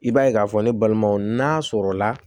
I b'a ye k'a fɔ ne balimanw n'a sɔrɔla